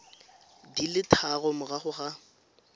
di le tharo morago ga